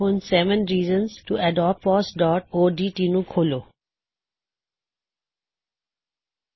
ਹੁਣ seven reasons to adopt FOSS dot O D T seven reasons to adopt fossਓਡਟ ਨੂੰ ਖੋਲੋ